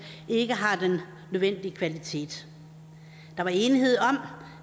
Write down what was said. ikke har den nødvendige kvalitet der var enighed om